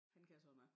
Han kan sådan noget